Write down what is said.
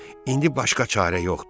İndi başqa çarə yoxdur.